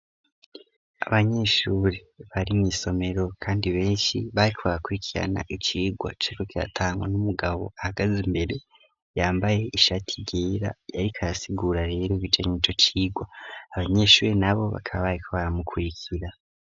Abanyeshure bari mw'isomero, kandi benshi baka abakurikirana icigwa ceko kyatangwa n'umugabo ahagaze imbere yambaye ishati ryera yariko ayasigura rero ibijanya ico cirwa abanyeshure na bo bakabaye ko baramukurikira.